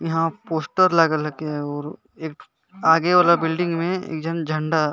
यहाँ पोस्टर लगल लके और और एक ठो आगे वाला बिल्डिंग में एक झन झंडा--